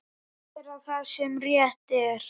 Gera það sem rétt er.